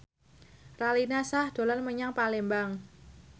Raline Shah dolan menyang Palembang